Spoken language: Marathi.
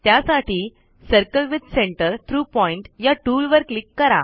त्यासाठी circle with center through point या टूलवर क्लिक करा